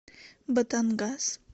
батангас